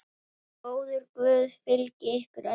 Góður Guð fylgi ykkur öllum.